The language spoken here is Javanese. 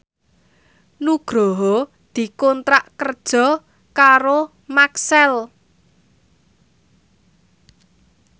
Nugroho dikontrak kerja karo Maxell